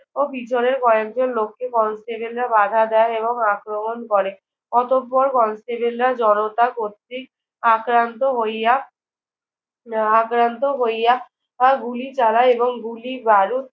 ও পিছনের কয়েকজন লোককে কনস্টেবলরা বাধা দেয় এবং আক্রমণ করে। অতঃপর কনস্টেবলরা জনতা কর্তৃক আক্রান্ত হইয়া আহ আক্রান্ত হইয়া গুলি চালায় এবং গুলি, বারুদ